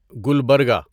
Gulbarga